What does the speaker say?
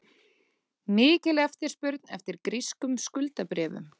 Mikil eftirspurn eftir grískum skuldabréfum